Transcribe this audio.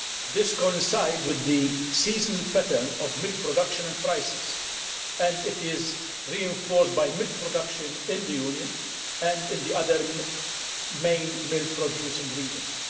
This coincides with the seasonal pattern of milk production and prices and is reinforced by milk production in the Union and in the other main milk producing regions.